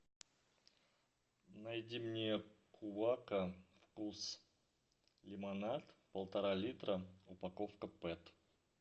найди мне кувака вкус лимонад полтора литра упаковка пэт